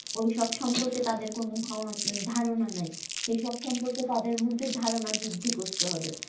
ওইসব সম্পর্কে তাদের কোনো ধান ধারণা নেই, এইসব সম্পর্কে তাদের মধ্যে ধারণা বৃদ্ধি করতে হবে